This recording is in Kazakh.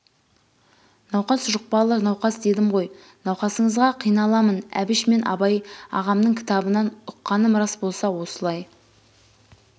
науқас жұқпалы науқас дедім ғой науқасыңызға қиналамын әбіш мен абай ағамның кітабынан ұққаным рас болса осылай